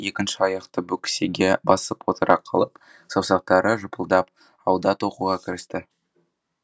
екінші аяқты бөксеге басып отыра қалып саусақтары жыпылдап ауды тоқуға кірісті